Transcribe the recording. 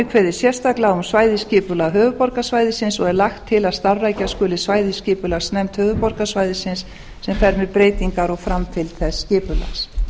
kveðið sérstaklega á um svæðisskipulag höfuðborgarsvæðisins og er lagt til að starfrækja skuli svæðisskipulagsnefnd höfuðborgarsvæðisins sem fer með breytingar og framtíð þess skipulags